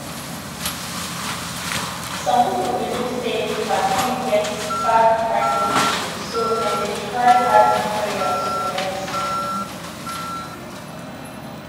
some people believe say vaccine get bad microchip so dem dey try add prayer to the medicine.